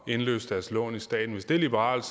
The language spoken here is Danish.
indløse deres lån i staten hvis det er liberalt